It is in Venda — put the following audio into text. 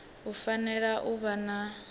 a fanela u vha a